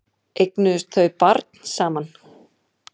Eignuðust þau barn saman?